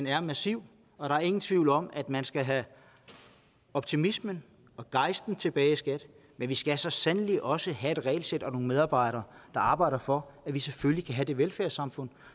er massiv og der er ingen tvivl om at man skal have optimismen og gejsten tilbage i skat men vi skal så sandelig også have et regelsæt og nogle medarbejdere der arbejder for at vi selvfølgelig kan have det velfærdssamfund